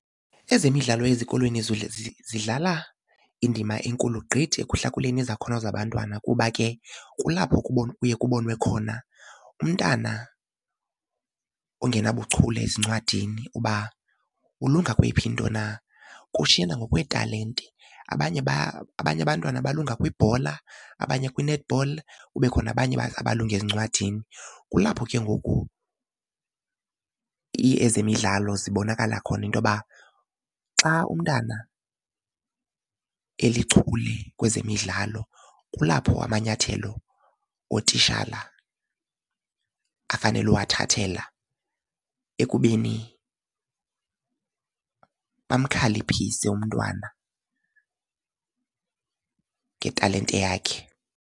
Ezemidlalo ezikolweni zidlala indima enkulu gqithi ekuhlakuleni izakhono zabantwana kuba ke kulapho ubomi buye bubonwe khona. Umntana ongena buchule ezincwadini uba ulunga kweyiphi into na, kushiyana ngokweetalente. Abanye abantwana balunga kwibhola abanye kwi-netball kube khona abanye abalunga ezincwadini. Kulapho ke ngoku ezemidlalo zibonakala khona into yoba xa umntana elichule kwezemidlalo kulapho amanyathelo ootitshala afanele uwathathela ekubeni bamkhaliphise umntwana ngetalente yakhe.